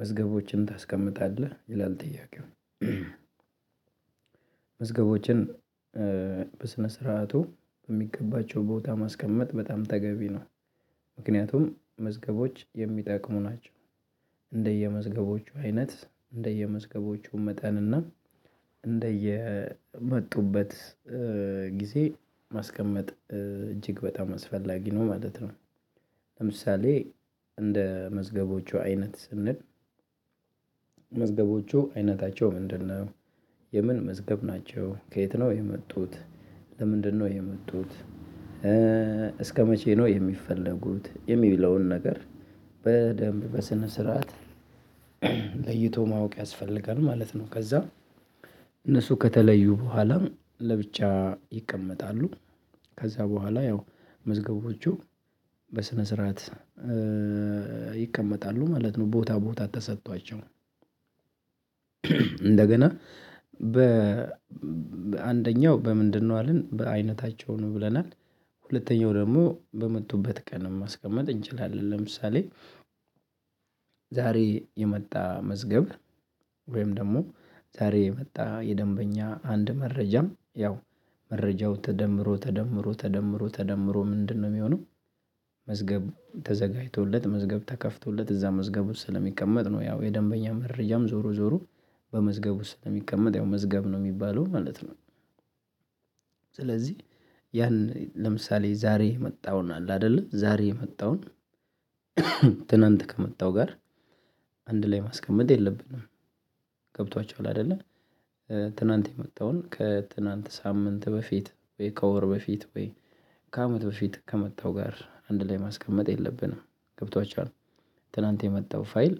መዝገቦችን ታስቀምጣለህ ይላል ጥያቄው? መዝገቦችን በስነ ስርዓቱ በሚገባቸው ቦታ ማስቀመጥ በጣም ተገቢ ነው። ምክንያቱም መዝገቦች የሚጠቅሙ ናቸው። እንደየመዝገቦቹ አይነት እንደየመዝገቦቹ መጠን እና እንደየመጡበት ጊዜ ማስቀመጥ እጅግ በጣም አስፈላጊ ነው ማለት ነው። ለምሳሌ እንደ መዝገቦቹ አይነት ስንል መዝገቦቹ አይነታቸው ምንድን ነው? የምን መዝገብ ናቸው ከየት ነው የመጡት? ለምንድን ነው የመጡት? እስከ መቼ ነው የሚፈለጉት የሚለውን ነገር በደንብ በስነ ስርዓት ለይቶ ማወቅ ያስፈልጋል ማለት ነው። ከዛ እነሱ ከተለዩ በኋላም ለብቻ ይቀመጣሉ። ከዛ በኋላ ያው መዝገቦቹ በስነ ስርዓት ይቀመጣሉ ማለት ነው ቦታ ቦታ ተሰጥቷቸው። እንደገና አንደኛው በምንድን ነው አልን በአይነታቸው ነው ብለናል። ሁለተኛው ደግሞ በመጡበት ቀን ማስቀመጥ እንችላለን ለምሳሌ ዛሬ የመጣ መዝገብ ወይም ደግሞ ዛሬ የመጣ የደንበኛ አንድ መረጃም ያው መረጃው ተደምሮ ተደምሮ ተደምሮ ተደምሮ ምንድነው ሚሆነው? መዝገብ ተዘጋጅቶለት መዝገብ ተከፍቶለት እዛ መዝገቡ ስለሚቀመጥ ነው ያው የደንበኛ መረጃም ዞሮ ዞሮ በመዝገቡ ስለሚቀመጥ ያው መዝገብ ነው ሚባለው ማለት ነው። ስለዚህ ያን ለምሳሌ ዛሬ የመጣውን አለ አይደለ ዛሬ የመጣውን ትናንት ከመጣው ጋር አንድ ላይ ማስቀመጥ የለብንም። ገብቷቹሃል አይደለ? ትናንት የመጣውን ከትናንት ሳምንት በፊት ወይ ከወር በፊት ወይ ከአመት በፊት ከመጣው ጋር አንድ ላይ ማስቀመጥ የለብንም ገብቷችኋል። ትላንት የመጣው ፋይል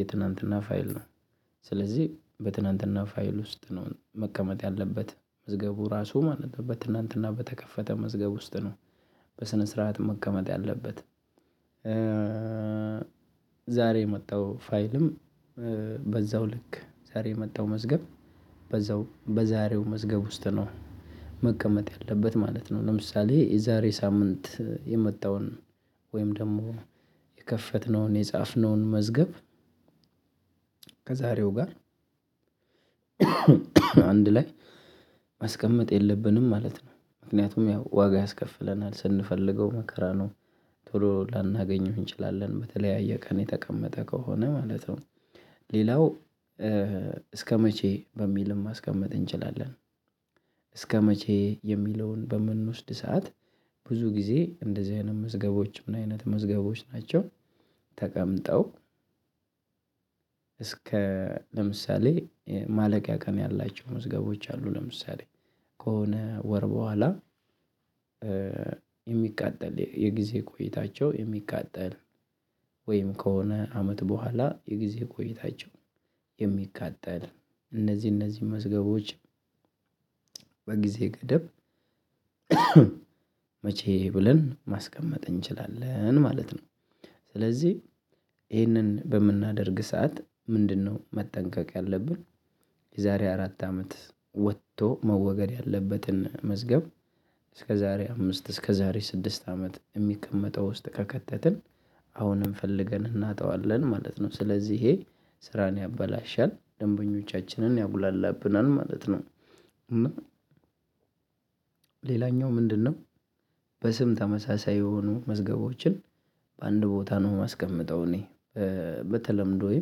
የትላንትና ፋይል ነው ስለዚህ በትናንትና ፋይል ውስጥ ነው መቀመጥ ያለበት መዝገቡ ራሱ ማለት ነው በትናንትና በተከፈተ መዝገብ ውስጥ ነው። በስነ ስርዓት መቀመጥ ያለበት ዛሬ የመጣው ፋይልም በዛው ልክ ዛሬ የመጣው መዝገብ በዛው በዛሬው መዝገብ ውስጥ ነው መቀመጥ ያለበት ማለት ነው። ለምሳሌ የዛሬ ሳምንት የመጣውን ወይም ደግሞ የከፈትነውን የጻፍነውን መዝገብ ከዛሬው ጋር አንድ ላይ ማስቀመጥ የለብንም ማለት ነው። ምክንያቱም ያው ዋጋ ያስከፍለናል ስንፈልገው መከራ ነው ቶሎ ላናገኘው እንችላለን በተለያየ ቀን የተቀመጠ ከሆነ ማለት ነው። ሌላው እስከመቼ በሚልም ማስቀመጥ እንችላለን? እስከመቼ የሚለውን በምንወስድ ሰዓት ብዙ ጊዜ እንደዚህ አይነት መዝገቦችም እና ምን አይነት መዝገቦች ናቸው? ተቀምጠው እስከ ለምሳሌ ማለቂያ ቀን ያላቸው መዝገቦች አሉ ለምሳሌ ከሆነ ወር በኋላ የሚቃጠል የጊዜ ቆይታቸው የሚቃጠል ወይም ከሆነ አመት በኋላ የጊዜ ቆይታቸው የሚቃጠል እነዚህ እነዚህ መዝገቦች በጊዜ ገደብ መቼ ብለን ማስቀመጥ እንችላለን ማለት ነው። ስለዚህ ይህንን በምናደርግ ሰዓት ምንድነው መጠንቀቅ ያለብን? የዛሬ አራት አመት ወጥቶ መወገድ ያለበትን መዝገብ እስከ ዛሬ አምስት እስከ ዛሬ ስድስት አመት የሚቀመጠው ውስጥ ከከተትን አሁንም ፈልገን እናጣዋለን ማለት ነው ስለዚህ ይሄ ስራን ያበላሻል ደንበኞቻችንን ያጉላላብናል ማለት ነው። እና ሌላኛው ምንድን ነው? በስም ተመሳሳይ የሆኑ መዝገቦችን በአንድ ቦታ ነው የማስቀምጠው እኔ በተለምዶዬ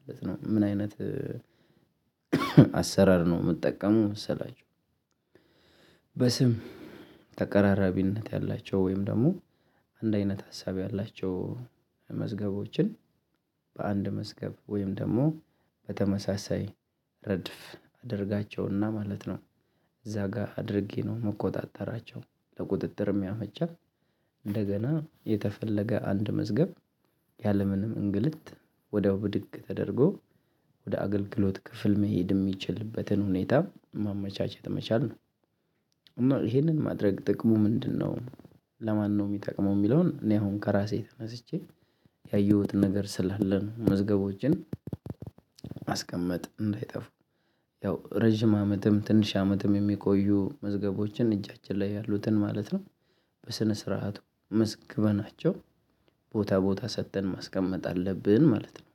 ማለት ነው አይነት አሰራር ነው የምጠቀመው መሰላችሁ። በስም ተቀራራቢነት ያላቸው ወይም ደግሞ አንድ አይነት ሀሳብ ያላቸው መዝገቦችን በአንድ መዝገብ ወይም ደግሞ በተመሳሳይ ረድፍ አድርጋቸውና ማለት ነው። እዛ ጋር አድርጌ ነው የምቆጣጠራቸው ለቁጥጥር ያመቻል። እንደገና የተፈለገ አንድ መዝገብ ያለምንም እንግልት ወዲያው ብድግ ተደርጎ ወደ አገልግሎት ክፍል መሄድ ሚችልበትን ሁኔታ ማመቻቸት መቻል ነው። ይሄንን ማድረግ ጥቅሙ ምንድን ነው? ለማነው ሚጠቅመው ሚለውን እኔ አሁን ከራሴ ተነስቼ ያየሁትን ነገር ስላለ ነው። መዝገቦችን ማስቀመጥ እንዳይጠፉ ያው ረጅም አመትም ትንሽ አመትም የሚቆዩ መዝገቦችን እጃችን ላይ ያሉትን ማለት ነው። በስነ ስርዓቱ መዝግበናቸው ቦታ ቦታ ሰጥተን ማስቀመጥ አለብን ማለት ነው።